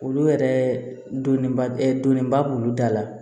Olu yɛrɛ dɔnniba donniba b'olu da la